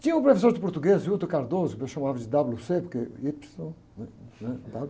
Tinha um professor de português, que eu chamava de dáblio-cê, porque ípsilo, né? Né? Dáblio.